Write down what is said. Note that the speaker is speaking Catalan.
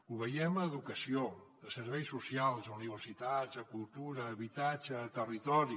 ho veiem a educació a serveis socials a universitats a cultura a habitatge a territori